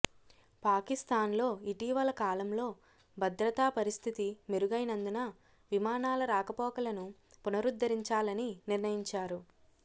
పాకిస్థాన్లో ఇటీవలకాలంలో భద్రతా పరిస్థితి మెరుగైనందున విమానాల రాకపోకలను పునరుద్ధరించాలని నిర్ణయించారు